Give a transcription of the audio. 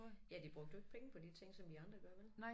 Ja de brugte jo ikke penge på de ting som vi andre gør vel